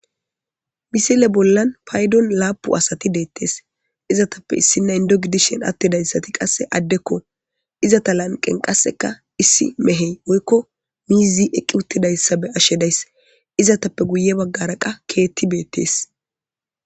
Misile bollan paydon laapu asati deettees izatappe issi naindogdishen attidayssati qasse addekko izata lanqen qasseka issi mehey oykko miizi eqqi uttidayssabe ashshedays izatappe guye baggara qa keetti beettes.